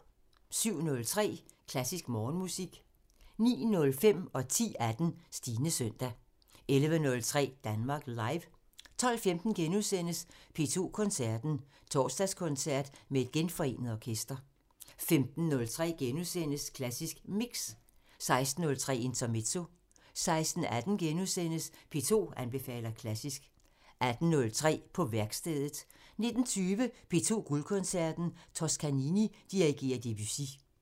07:03: Klassisk Morgenmusik 09:05: Stines søndag 10:18: Stines søndag 11:03: Danmark Live 12:15: P2 Koncerten – Torsdagskoncert med et genforenet orkester * 15:03: Klassisk Mix * 16:03: Intermezzo 16:18: P2 anbefaler klassisk * 18:03: På værkstedet 19:20: P2 Guldkoncerten – Toscanini dirigerer Debussy